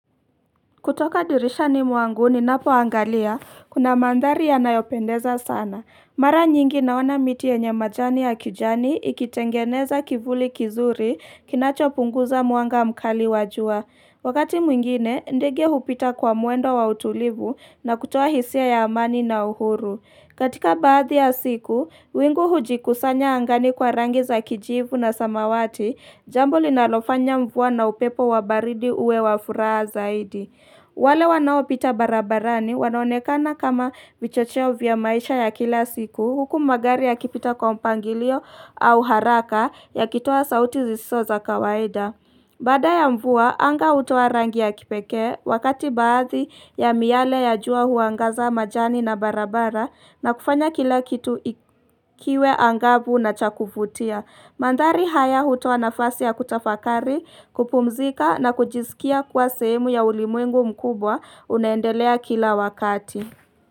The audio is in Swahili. Kutoka dirishani mwanguni napoangalia, kuna mandhari ya nayopendeza sana. Mara nyingi naona miti yenye majani ya kijani ikitengeneza kivuli kizuri kinacho punguza muanga mkali wa jua. Wakati mwingine, ndege hupita kwa mwendo wa utulivu na kutoa hisia ya amani na uhuru. Katika baadhi ya siku, wingu hujikusanya angani kwa rangi za kijivu na samawati, jambo linalofanya mvua na upepo wa baridi uwe wa furaha zaidi. Wale wanao pita barabarani wanaonekana kama vichocheo vya maisha ya kila siku huku magari yakipita kompangilio au haraka yakitoa sauti zisizo za kawaida. Baada ya mvua, anga hutoa rangi ya kipekee wakati baadhi ya miale ya jua huangaza majani na barabara na kufanya kila kitu ikiwe angabu na chakufutia. Mandari haya huto wanafasi ya kutafakari, kupumzika na kujizikia kwa sehemu ya ulimwengu mkubwa unendelea kila wakati.